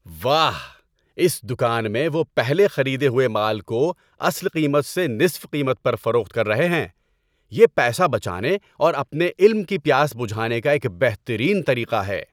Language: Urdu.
واہ! اس دکان میں وہ پہلے خریدے ہوئے مال کو اصل قیمت سے نصف قیمت پر فروخت کر رہے ہیں۔ یہ پیسہ بچانے اور اپنے علم کی پیاس بجھانے کا ایک بہترین طریقہ ہے۔